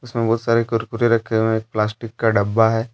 उसमें बहुत सारे कुरकुरे रखें हुए हैं एक प्लास्टिक का डब्बा है।